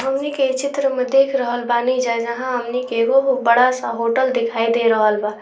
सामने के चित्र में देख रहक्ल बानी जहाँ हमनी के एगो बड़ा सा होटल दिखाय दे रहल वा।